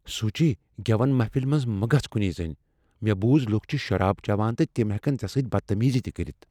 سوچی۔ گیون محفل منز مہ گژھ کنی زٔنۍ۔ مےٚ بوٗز لوکھ چھ شراب چیوان تہٕ تم ہیکن ژےٚ سۭتۍ بدتمیزی تہ کٔرتھ۔